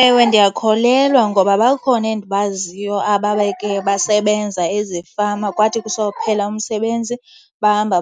Ewe ndiyakholelwa, ngoba bakhona endibaziyo ababeke basebenza ezifama kwathi kusophela umsebenzi bahamba